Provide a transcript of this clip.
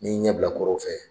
N'i ɲɛ bila kɔrɔ fɛ